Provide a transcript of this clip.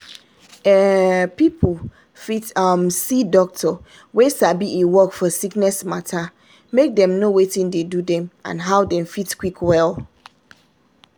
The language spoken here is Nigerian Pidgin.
um people fit um see doctor wey sabi e work for sickness matter make dem know watin dey do dem and how dem fit quick well.